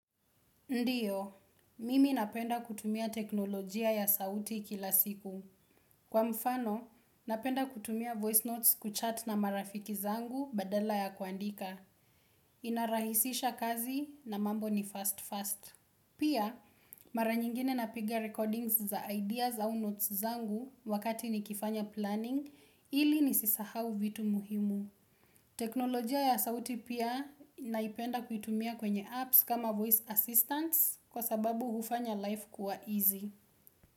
Ndiyo, mimi napenda kutumia teknolojia ya sauti kila siku. Kwa mfano, napenda kutumia voice notes kuchat na marafiki zangu badala ya kuandika. Inarahisisha kazi na mambo ni fast-fast. Pia, mara nyingine napigia recordings za ideas au notes zangu wakati ni kifanya planning ili ni sisahau vitu muhimu. Teknolojia ya sauti pia naipenda kuitumia kwenye apps kama voice assistance kwa sababu hufanya life kuwa easy.